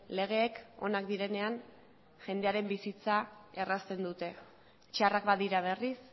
legeek onak direnean jendearen bizitza errazten dute txarrak badira berriz